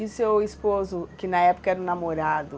E o seu esposo, que na época era o namorado...